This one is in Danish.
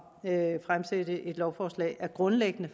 at fremsætte et lovforslag grundlæggende